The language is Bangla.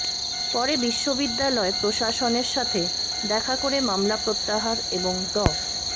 পরে বিশ্ববিদ্যালয় প্রশাসনের সাথে দেখা করে মামলা প্রত্যাহার এবং ড